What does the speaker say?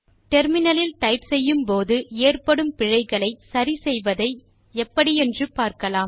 முனையத்தில் டைப் செய்யும் போது ஏற்படும் பிழைகளை சரி செய்வதை என்று பார்க்கலாம்